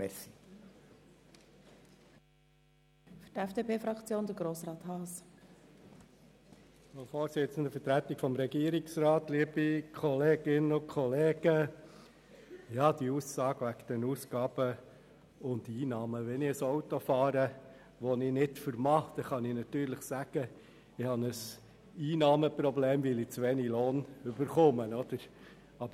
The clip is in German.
Zur Aussage mit den Ausgaben und Einnahmen: Wenn ich ein Auto fahre, das ich mir nicht leisten kann, dann kann ich natürlich sagen, ich hätte ein Einnahmenproblem, weil ich zu wenig Lohn erhalten würde.